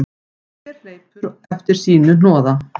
Hver hleypur eftir sínu hnoða.